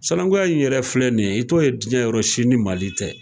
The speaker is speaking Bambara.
Sanakunya in yɛrɛ filɛ nin ye, i t'o ye jiɲɛ yɔrɔ si ni Mali tɛ.